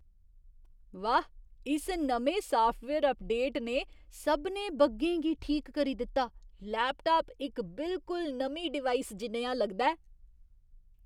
वाह्, इस नमें साफ्टवेयर अपडेट ने सभनें बग्गें गी ठीक करी दित्ता। लैपटाप इक बिलकुल नमीं डिवाइस जनेहा लगदा ऐ!